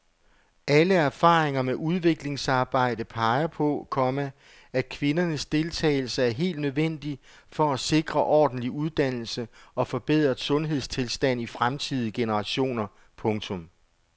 Alle erfaringer med udviklingsarbejde peger på, komma at kvindernes deltagelse er helt nødvendig for at sikre ordentlig uddannelse og forbedret sundhedstilstand til fremtidige generationer. punktum